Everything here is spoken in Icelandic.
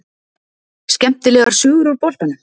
Skemmtilegar sögur úr boltanum?